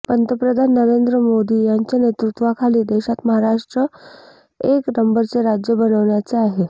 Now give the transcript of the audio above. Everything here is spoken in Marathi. पंतप्रधान नरेंद्र मोदी यांच्या नेतृत्वाखाली देशात महाराष्ट्र एक नंबरचे राज्य बनवायचे आहे